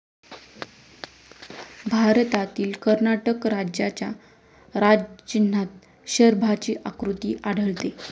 भारतातील कर्नाटक राज्याच्या राजचिन्हात शरभाची आकृती आढळते.